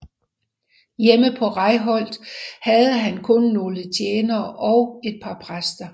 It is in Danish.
Hjemme på Reykholt havde han kun nogle tjenere og et par præster